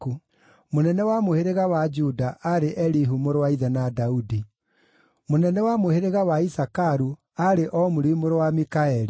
mũnene wa mũhĩrĩga wa Juda aarĩ Elihu mũrũ wa ithe na Daudi; mũnene wa mũhĩrĩga wa Isakaru aarĩ Omuri mũrũ wa Mikaeli;